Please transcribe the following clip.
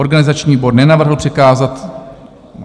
Organizační výbor nenavrhl přikázat...